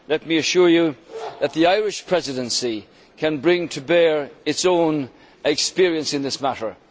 let me assure you that the Irish Presidency can bring to bear its own experience in this matter.